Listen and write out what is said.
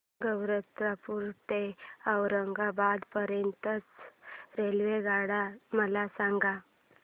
गैरतपुर ते अहमदाबाद पर्यंत च्या रेल्वेगाड्या मला सांगा